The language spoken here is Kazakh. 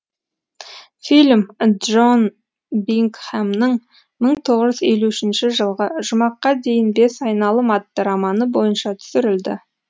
фильм джон бингхэмның мың тоғыз жүз елу үшінші жылғы жұмаққа дейін бес айналым атты романы бойынша түсірілді